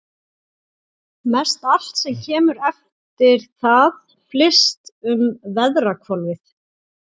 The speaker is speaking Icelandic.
Mestallt sem kemur eftir það flyst um veðrahvolfið.